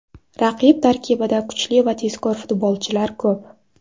Raqib tarkibida kuchli va tezkor futbolchilar ko‘p.